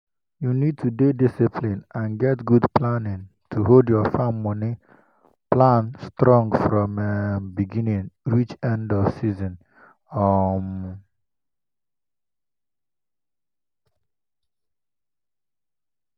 you need to dey discipline and get good planning to hold your farm moni plan strong from um beginning reach end of the season. um